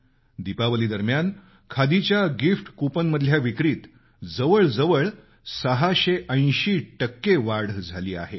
दीपावली दरम्यान खादीच्या gift coupon मधल्या विक्रीत जवळ जवळ 680 टक्के वाढ झाली आहे